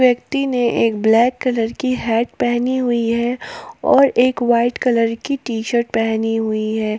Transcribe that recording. व्यक्ति ने एक ब्लैक कलर की हैट पहनी हुई है और एक व्हाइट कलर की टी शर्ट पहनी हुई है।